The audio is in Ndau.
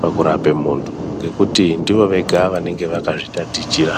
pakurape muntu ngekuti ndivo vega vanenge vakazvitatichira.